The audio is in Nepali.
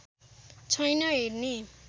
छैन हेर्ने